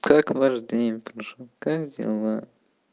как ваш день прошёл как дела